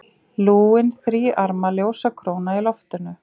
Lúin, þríarma ljósakróna í loftinu.